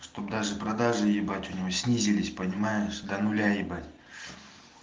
что бы даже продажи ебать у него снизились понимаешь до нуля ебать